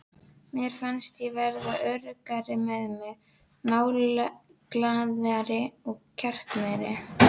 Mér fannst ég verða öruggari með mig, málglaðari og kjarkmeiri.